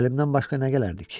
Əlimdən başqa nə gələrdi ki?